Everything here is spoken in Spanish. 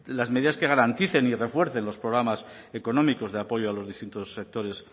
las medidas que garanticen y refuercen los programas económicos de apoyo a los distintos sectores